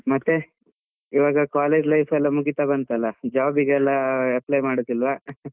ಮತ್ತೆ, ಇವಾಗ college life ಎಲ್ಲ ಮುಗಿತ ಬಂತಲ್ಲ job ಗೆಲ್ಲ apply ಮಾಡುದಿಲ್ವಾ .